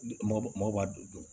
Mɔgɔ b'a don dun